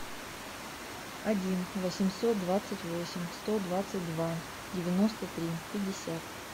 один восемьсот двадцать восемь сто двадцать два девяносто три пятьдесят